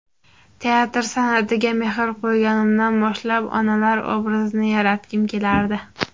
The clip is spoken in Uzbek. Teatr san’atiga mehr qo‘yganimdan boshlab, onalar obrazini yaratgim kelardi.